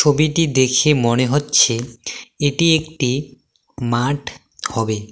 ছবিটি দেখে মনে হচ্ছে এটি একটি মাঠ হবে।